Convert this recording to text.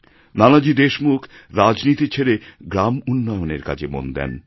নানাজি দেশমুখ রাজনীতি ছেড়ে গ্রাম উন্নয়নের কাজে মন দেন